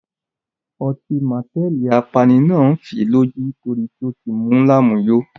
Ọtí mateli apani náà ń fii lójú torí ó ti mú lámùyo.